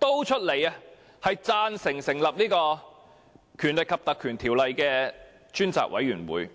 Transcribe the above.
贊成立法會引用《條例》成立專責委員會。